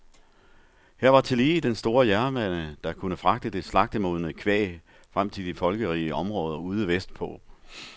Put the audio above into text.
Her var tillige den store jernbane, der kunne fragte det slagtemodne kvæg frem til de folkerige områder ude vestpå.